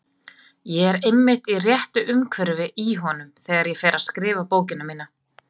Ég er einmitt í réttu umhverfi í honum þegar ég fer að skrifa bókina mína.